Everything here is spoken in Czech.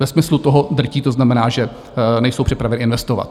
Ve smyslu toho drtí - to znamená, že nejsou připraveny investovat.